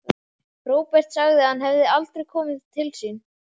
Róbert sagði að hann hefði aldrei komið til sín.